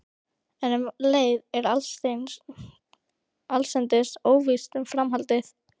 En um leið er allsendis óvíst um framhaldið.